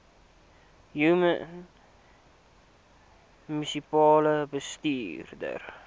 human munisipale bestuurder